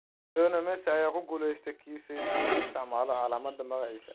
Lionel Messi ayaa ku guuleystay kiiska si uu u isticmaalo calaamadda magaciisa